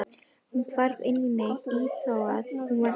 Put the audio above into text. Hún hvarf inn í mig afþvíað hún var ég.